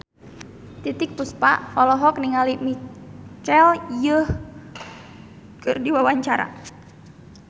Titiek Puspa olohok ningali Michelle Yeoh keur diwawancara